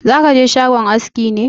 Za ka je shagon aski ne?